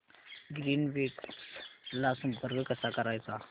Greenwaves ला संपर्क कसा करायचा